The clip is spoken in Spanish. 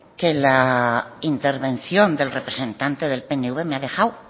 que la intervención del representante del pnv me ha dejado